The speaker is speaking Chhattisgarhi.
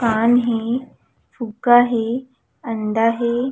पान हे फुग्गा हे अंडा हे।